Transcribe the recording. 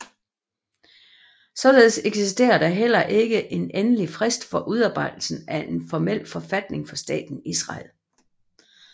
Således eksisterer der heller ikke en endelig frist for udarbejdelsen af en formel forfatning for Staten Israel